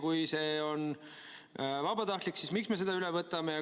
Kui see on vabatahtlik, siis miks me selle üle võtame?